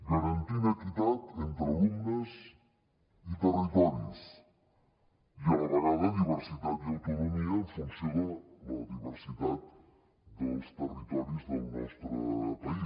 garantir equitat entre alumnes i territoris i a la vegada diversitat i autonomia en funció de la diversitat dels territoris del nostre país